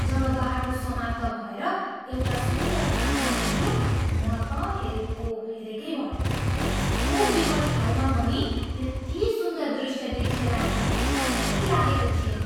जब बाटो समाप्त भएर एउटा सुन्दर फाँटमा पुग्यो, म त हेरेको हेरेकै भएँ। त्यस्तो विकट ठाउँमा पनि यति सुन्दर दृष्य देखिएला भन्ने ठ्याम्मै लागेको थिएन।